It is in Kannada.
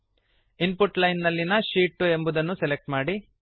ಇನ್ ಪುಟ್ ಲೈನ್ ನಲ್ಲಿನ ಶೀಟ್ 2 ಎಂಬುವುದನ್ನು ಸೆಲೆಕ್ಟ್ ಮಾಡಿ